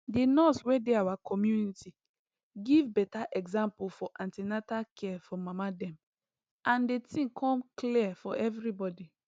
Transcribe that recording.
the nurse wey dey our community give better example for an ten atal care for mama dem and the thing come clear for everybody